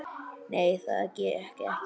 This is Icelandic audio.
Nei, það gekk ekki.